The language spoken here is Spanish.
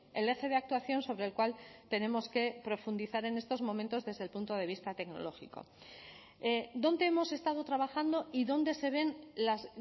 el eje de actuación sobre el cual tenemos que profundizar en estos momentos desde el punto de vista tecnológico dónde hemos estado trabajando y dónde se ven las